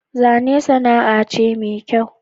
Zane sana'a ce me kyau